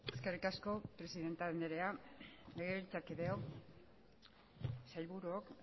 eskerrik asko presidente anderea legebiltzarkideok sailburuok